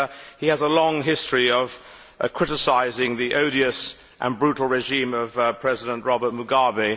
He has a long history of criticising the odious and brutal regime of President Robert Mugabe.